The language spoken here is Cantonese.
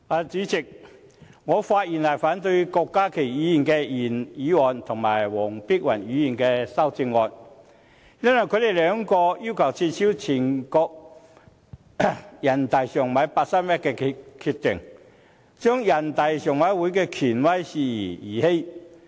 主席，我發言反對郭家麒議員的原議案和黃碧雲議員的修正案，因為他們二人均要求撤銷全國人民代表大會常務委員會八三一決定，將人大常委會的權威視為兒戲。